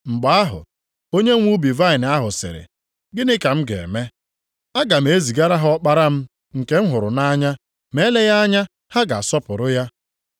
“Mgbe ahụ, onyenwe ubi vaịnị ahụ sịrị, ‘Gịnị ka m ga-eme? Aga m ezigara ha ọkpara m, nke m hụrụ nʼanya, ma eleghị anya ha ga-asọpụrụ ya.’